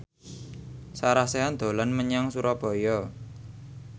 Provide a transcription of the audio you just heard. Sarah Sechan dolan menyang Surabaya